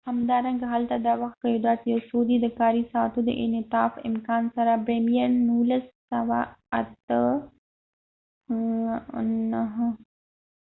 ، همدارنګه هلته د وخت قیودات یو څو دي ، د کاری ساعتونو د انعطاف د امکان سره بریمیر،1998